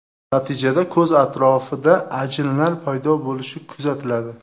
Natijada ko‘z atrofida ajinlar paydo bo‘lishi kuzatiladi.